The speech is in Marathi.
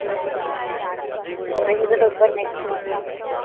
mpsc चा पेपर next month मध्ये.